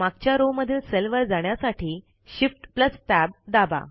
मागच्या रो मधील सेल वर जाण्यासाठी Shift Tab दाबा